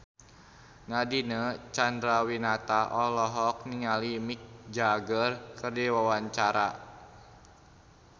Nadine Chandrawinata olohok ningali Mick Jagger keur diwawancara